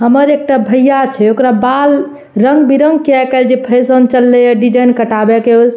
हमर एकटा भैया छै ओकर बाल रंग-बिरंग के आय काएल जे फैशन चलले ये डिजाइन कटावै के ओय से --